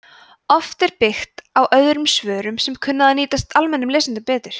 oft er byggt á öðrum svörum sem kunna að nýtast almennum lesendum betur